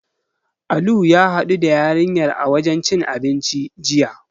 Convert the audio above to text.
Alu ya haɗu da yarinyar a wajen cin abinci, jiya.